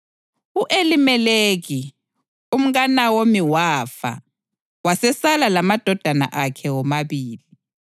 U-Elimeleki, umkaNawomi wafa, wasesala lamadodana akhe womabili.